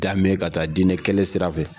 ' kan bɛɛ ka taa diinɛ kelen sira fɛ.